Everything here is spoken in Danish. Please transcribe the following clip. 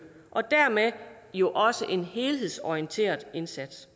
og dermed jo også en helhedsorienteret indsats